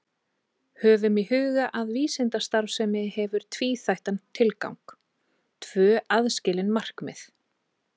Höfum í huga að vísindastarfsemi hefur tvíþættan tilgang, tvö aðskilin markmið.